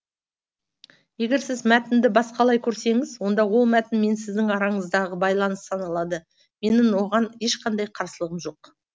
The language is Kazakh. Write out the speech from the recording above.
егер сіз мәтінді басқалай көрсеңіз онда ол мәтін мен сіздің араңыздағы байланыс саналады менің оған ешқандай қарсылығым жоқ